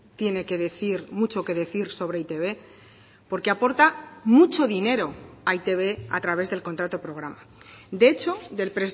tiene que decir mucho que decir sobre e i te be porque aporta mucho dinero a e i te be a través del contrato programa de hecho del